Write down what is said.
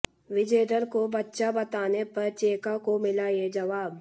विजेंदर को बच्चा बताने पर चेका को मिला ये जवाब